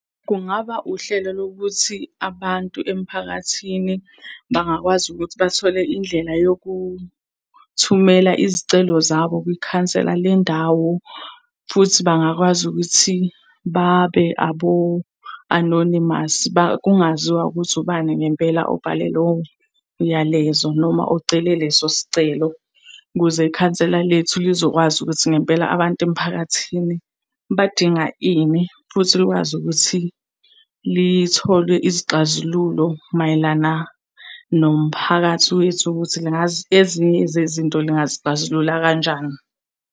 Kungaba uhlelo lokuthi abantu emphakathini bangakwazi ukuthi bathole indlela yokuthumela izicelo zabo kwikhansela lendawo. Futhi bangakwazi ukuthi babe abo-anonymous, kungaziwa ukuthi ubani ngempela obhale lowo myalezo noma ocele leso sicelo. Ukuze ikhansela lethu lizokwazi ukuthi ngempela abantu emphakathini badinga ini, futhi likwazi ukuthi lithole izixazululo mayelana nomphakathi wethu ukuthi ezinye zezinto lingazixazulula kanjani.